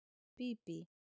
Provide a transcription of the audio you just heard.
Bíbí